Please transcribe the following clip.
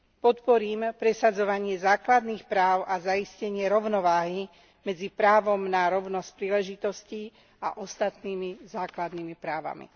Podporím presadzovanie základných práv a zaistenie rovnováhy medzi právom na rovnosť príležitostí a ostatnými základnými právami.